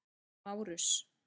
Márus